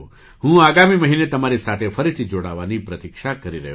હું આગામી મહિને તમારી સાથે ફરીથી જોડાવાની પ્રતીક્ષા કરી રહ્યો છું